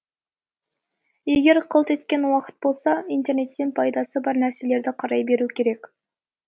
егер қылт еткен уақыт болса интернеттен пайдасы бар нәрселерді қарай беру керек екен